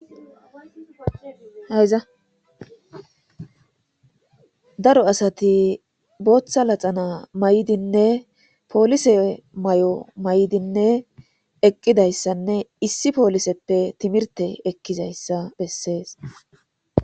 Hayza daro asati bootha laxana mayidinne polise mayo mayidinne eqidaysanne issi poliseppe timirte ekizaysa besses